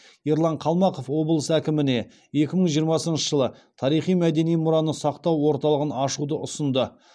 ерлан қалмақов облыс әкіміне екі мың жиырмасыншы жылы тарихи мәдени мұраны сақтау орталығын ашуды ұсынды